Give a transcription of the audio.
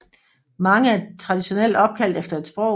Mange er traditionelt opkaldt efter et sprog